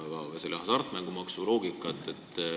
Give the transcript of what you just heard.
Seletage ikkagi lähemalt seda hasartmängumaksu jagamise loogikat.